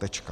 Tečka.